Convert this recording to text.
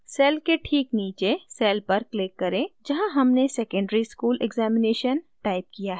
cell cell के ठीक नीचे cell cell पर click करें जहाँ हमने secondary school examination टाइप किया है